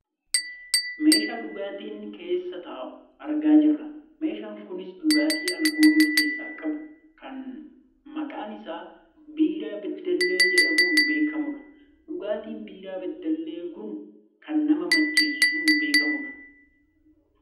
Meeshaa dhugaatiin keessa taa'u argaa jirra . Meeshaan kunis dhugaatii aalkoolii of keessaa qabu kan maqaan isaa biiraa beddellee jedhamuun beekkamudha. Dhugaatiin biiraa beddellee kun kan nama mcheessuun beekkamu dha.